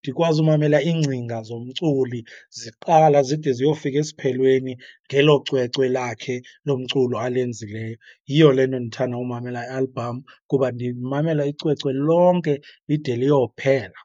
ndikwazi umamela iingcinga zomculi ziqala zide ziyofika esiphelweni ngelo cwecwe lakhe lomculo alenzileyo. Yiyo le nto ndithanda umamela i-album kuba ndimamela icwecwe lonke lide liyophela.